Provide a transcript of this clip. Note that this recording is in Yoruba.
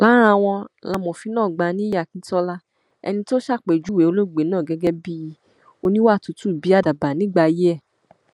lára wọn làmòfinàgbà nìyí akíntola ẹni tó ṣàpèjúwe olóògbé náà gẹgẹ bíi oníwà tútù bíi àdàbà nígbà ayé ẹ